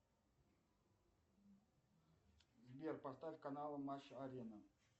сбер поставь канал матч арена